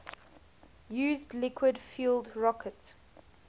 used liquid fueled rocket